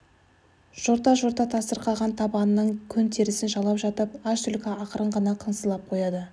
жорта-жорта тасырқаған табанының көн терісін жалап жатып аш түлкі ақырын ғана қыңсылап қояды